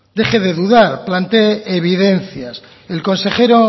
deje de dudar planteé evidencias el consejero